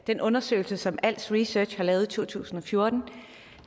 den undersøgelse som als research har lavet i to tusind og fjorten